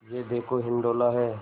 यह देखो हिंडोला है